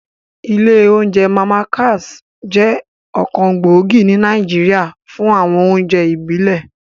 Ilé oúnjẹ Màmá Cass jẹ́ ọ̀kan gbòógì ní Nàìjíríà fún àwọn oúnjẹ ìbílẹ̀